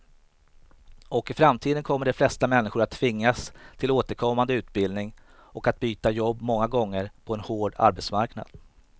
Och i framtiden kommer de flesta människor att tvingas till återkommande utbildning och att byta jobb många gånger på en hård arbetsmarknad.